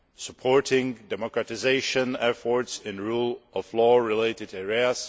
supporting democratisation efforts in rule of law related areas